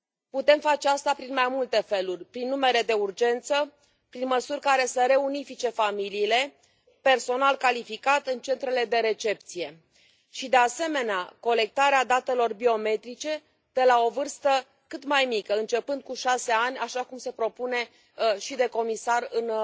Putem face asta în mai multe feluri prin numere de urgență, prin măsuri care să reunifice familiile, personal calificat în centrele de recepție și, de asemenea, colectarea datelor biometrice de la o vârstă cât mai mică, începând cu șase ani, așa cum se propune și de comisar în